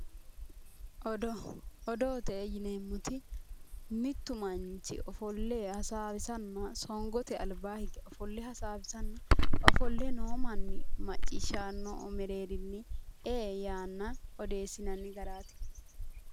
Odoo. Odoote yineemmoti mittu manchi ofolle hasaawisanna songote albaa hige ofolle hasaawisanna ofolle noo manni macciishshannohu mereerinni ee yaanna odeessinanni garaati.